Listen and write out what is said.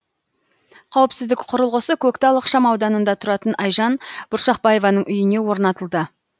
қауіпсіздік құрылғысы көктал ықшамауданында тұратын айжан бұршақбаеваның үйіне орнатылды